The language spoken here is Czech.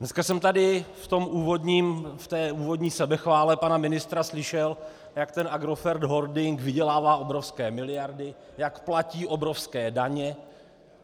Dneska jsem tady v té úvodní sebechvále pana ministra slyšel, jak ten Agrofert holding vydělává obrovské miliardy, jak platí obrovské daně.